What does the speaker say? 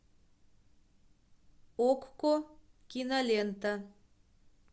окко кинолента